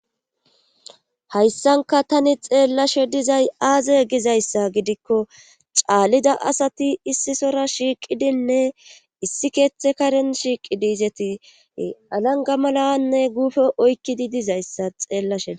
Hayssanka tani xeellashe dizay aaze gizayssa gidikko caallida asati issisora shiiqidinne issi keeththe karen shiiqi diizeti alanga malawanne guufe oykkidi dizayssa xeellashee.